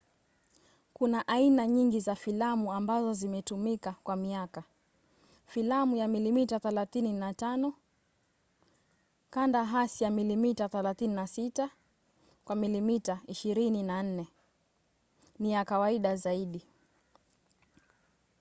kuna aina nyingi za filamu ambazo zimetumika kwa miaka. filamu ya milimita 35 kanda hasi ya milimita 36 kwa milimita 24 ni ya kawaida zaidi